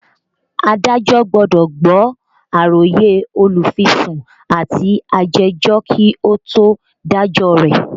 Adájọ́ gbọ́dọ̀ gbọ́ àròyé olùfisùn àti ajẹ́jọ́ kí ó tó dájọ́ rẹ̀